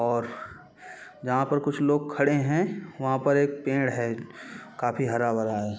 और जहाँ पर कुछ लोग खड़े है वहाँ पर एक पेड़ है काफी हरा भरा है।